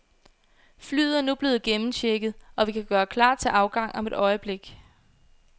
Flyet er nu blevet gennemchecket, og vi kan gøre klar til afgang om et øjeblik.